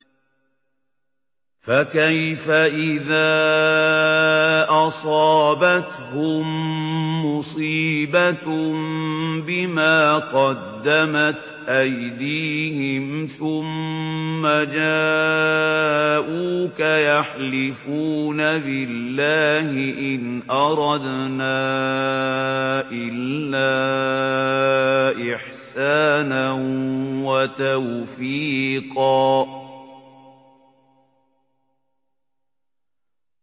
فَكَيْفَ إِذَا أَصَابَتْهُم مُّصِيبَةٌ بِمَا قَدَّمَتْ أَيْدِيهِمْ ثُمَّ جَاءُوكَ يَحْلِفُونَ بِاللَّهِ إِنْ أَرَدْنَا إِلَّا إِحْسَانًا وَتَوْفِيقًا